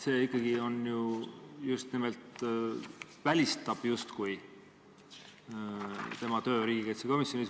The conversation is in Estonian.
See justkui välistab ikkagi tema töö riigikaitsekomisjonis.